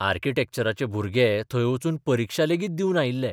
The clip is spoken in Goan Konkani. आर्किटॅक्चराचे भुरगे थंय वचून परिक्षा लेगीत दिवन आयिल्ले.